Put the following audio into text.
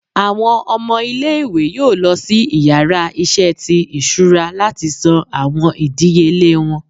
Awọn ọmọ ile-iwe yoo lọ si ìyára iṣẹ tí isúra lati san awọn idiyele wọn.